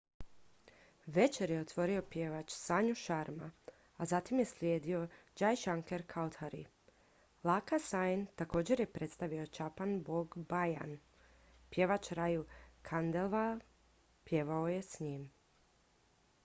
večer je otvorio pjevač sanju sharma a zatim je slijedio jai shankar choudhary lakkha singh također je predstavio chhappan bhog bhajan pjevač raju khandelwal pjevao je s njim